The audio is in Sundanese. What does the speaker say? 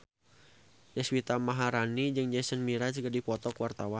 Deswita Maharani jeung Jason Mraz keur dipoto ku wartawan